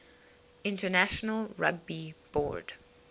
international rugby board